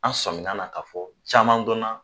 An sɔnminna na ka fɔ caman dɔnna